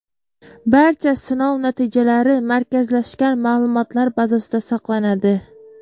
Barcha sinov natijalari markazlashgan ma’lumotlar bazasida saqlanadi.